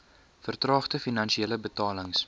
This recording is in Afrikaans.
vertraagde finale betalings